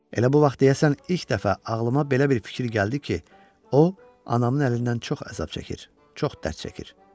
Elə bu vaxt, deyəsən, ilk dəfə ağlıma belə bir fikir gəldi ki, o, anamın əlindən çox əzab çəkir, çox dərd çəkir.